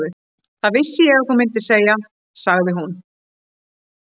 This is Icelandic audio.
Það vissi ég að þú myndir segja, sagði hún.